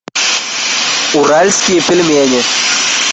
уральские пельмени